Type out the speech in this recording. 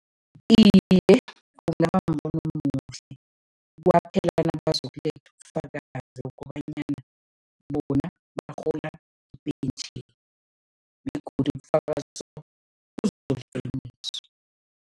Iye, kungaba mbono omuhle kwaphela nabazokuletha ubufakazi kobanyana bona barhola ipentjheni begodu ubufakazi